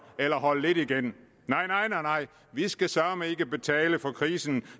eller holde lidt igen nej nej vi skal søreme ikke betale for krisen